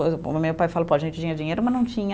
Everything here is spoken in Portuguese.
O meu pai falou tinha dinheiro, mas não tinha